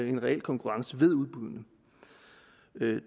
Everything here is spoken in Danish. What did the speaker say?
en reel konkurrence ved udbuddene